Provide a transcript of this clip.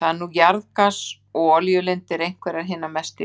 Þar eru nú jarðgas- og olíulindir, einhverjar hinar mestu í heiminum.